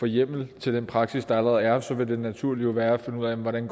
hjemmel til den praksis der allerede er og så ville det naturlige jo være at finde ud af hvordan